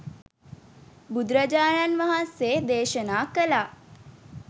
බුදුරජාණන් වහන්සේ දේශනා කළා.